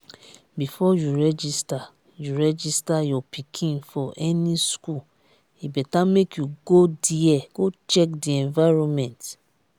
before you register you register your pikin for any school e better make you go there go check the environment